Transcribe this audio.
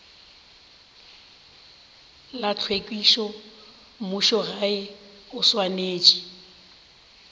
la tlhwekišo mmušogae o swanetše